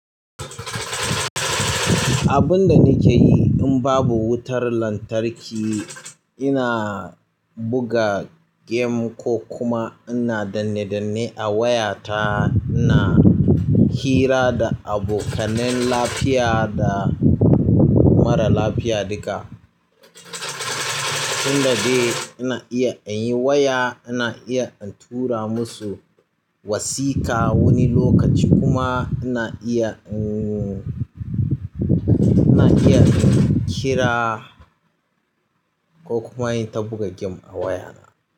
Abun da nike yi in babu wutar lantarki, ina buga game ko kuma ina danne-danne a wayata. Ina hira da abokanai lafiya da mara lafiya duka. Tun da dai ina iya in yi waya, ina iya in tura musu wasiƙa wani lokaci kuma ina iya, ina iya in kira ko kuma in ta buga gane a wayana.